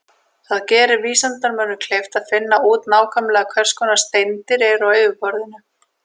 Það gerir vísindamönnum kleift að finna út nákvæmlega hvers konar steindir eru á yfirborðinu.